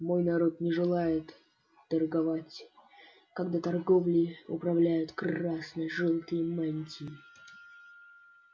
мой народ не желает торговать когда торговлей управляют красно-желтые мантии